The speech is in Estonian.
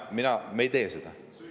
Me ei tee seda.